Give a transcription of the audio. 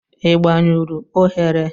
Ị gbanyụrụ oghere?